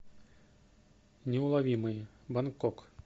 неуловимые бангкок